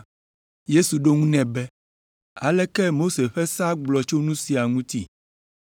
Yesu ɖo eŋu nɛ be, “Aleke Mose ƒe sea gblɔ tso nu sia ŋuti?”